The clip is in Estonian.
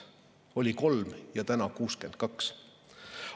Oli kolm ja täna on 62.